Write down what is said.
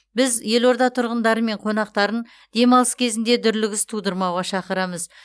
біз елорда тұрғындары мен қонақтарын демалыс кезінде дүрлігіс тудырмауға шақырамыз